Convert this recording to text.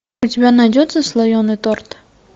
у тебя найдется слоеный торт